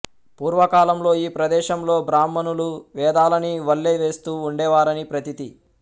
పూర్వకాలంలో ఈ ప్రదేశంలో బ్రాహ్మణులు వేదాలని వల్లె వేస్తూ ఉండేవారని ప్రతీతి